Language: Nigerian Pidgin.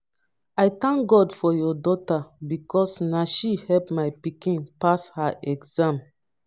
i thank god for your daughter because na she help my pikin pass her exam